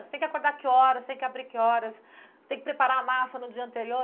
Você tem que acordar que horas, tem que abrir que horas, você tem que preparar a massa no dia anterior.